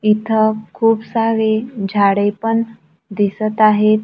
इथं खूप सारे झाडे पण दिसत आहेत.